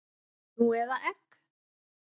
Nú eða egg?